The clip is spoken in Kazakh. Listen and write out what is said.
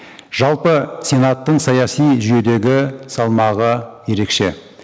жалпы сенаттың саяси жүйедегі салмағы ерекше